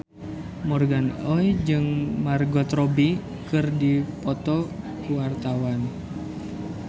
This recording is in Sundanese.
Morgan Oey jeung Margot Robbie keur dipoto ku wartawan